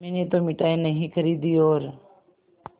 मैंने तो मिठाई नहीं खरीदी और